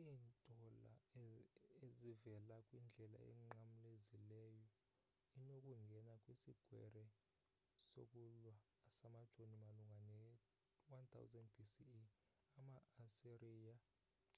iintola e ezivela kwindlela enqamlezileyo inokungena kwisikrweqe sokulwa samajoni malunga ne-1000 b.c.e. ama-asiriya